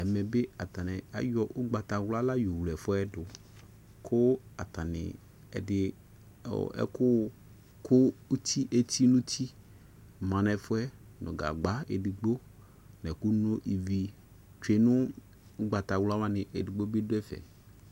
Ɛvɛ ne atane ayɔ ugbatawla ka yɔ wle ɛfuɛ do ko atane ɛde ko ɛku ku eti nuti ma nɛfuɛ no gagba edigbo no ɛku no ivi tsue no ugbataqla wane edigbo be do ɛfɛ